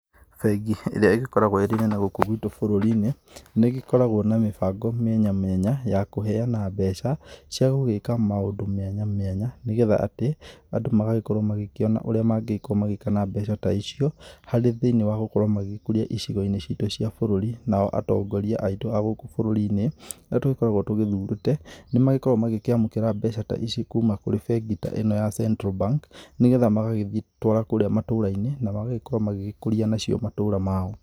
Bengi ĩrĩa ĩgĩkoragwo ĩrĩ nene gũkũ bũrũri-inĩ, nĩgĩkoragwo na mĩbango mĩanya mĩanya ya kuheana mbeca, cia gũgĩĩka maũndũ mĩanya mĩanya nĩ getha atĩ andũ magagĩkorwo magĩkĩona orĩa mangĩĩkwo magĩka na mbeca ta icio harĩ thĩinĩ wa gũkorwo magĩkũria icigo-inĩ citu cia bũrũri nao atongoria aitũ a gũkũ bũrũri-inĩ, arĩa tũkoragwo tũgĩthurĩte, nĩ magĩkoragwo magĩkĩamũkĩra mbeca ta ici kuma kũrĩ bengi ta ĩno ya Central Bank, nĩgetha magagĩthie twara kũrĩa matũra-inĩ na magagĩkorwo magĩgĩkũria nacio matura mao.